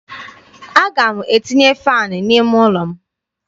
Aga m etinye faanị n'ime ụlọ m.